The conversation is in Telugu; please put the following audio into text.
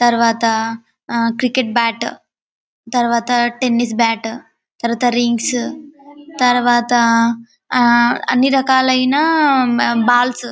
తరువాత ఆ క్రికెట్ బాట్ తరువాత టెన్నిస్ బాట్ తరువాత రింగ్స్ తరువాత ఆ అన్ని రకాలైన ఆ బాల్స్